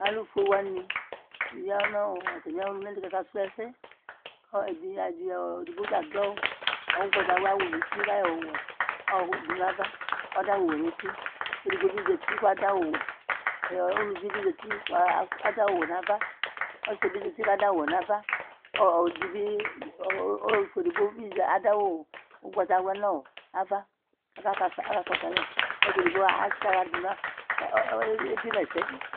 Alʊfoéwanɩ ƴa ŋʊ tamɩ ɔluŋalɩ Ƙaka sʊ ɛsɛ Éɖɩgbota aɖʊ ʊgɓatawla wʊ ŋʊtɩ Ƙaƴɔ awʊ wɛ ɖʊ ŋava, ƙaɖʊ awɛ ŋʊtɩ Ƙéɖigɓo ɓɩ zatɩ ƙaɖʊ awu wɛ Ʊlʊʋɩ ɓɩ zati kaɖʊ awʊ wɛ, ƙɔsɩ ɖɩbi zatɩ ƙaɖʊ awʊ wɛ nava, ƙʊ ɔluƒoé ɖɩɓɩ zatɩ ƙaɖʊ awʊ ʊgɓatawla ŋava ƙakaƙɔsu alɛ Ƙʊ ɔsɩ éɖɩgɓo ébɩéma ɛsɛ